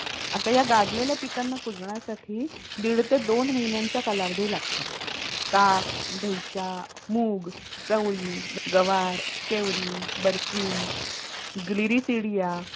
आता या गाडलेल्या पिकांना कुजण्यासाठी दिड ते दोन महिन्यांचा कालावधी लागतो. ताक, दहीच्या, मूग, चवळी, गवार, शेवरी, बरसिंग, ग्रिरिसिडीया